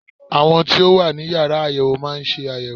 Àwọn tí ó wà ní Yàrá àyẹ̀wò má ń ṣe àyẹ̀wò.